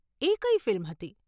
એ કઈ ફિલ્મ હતી?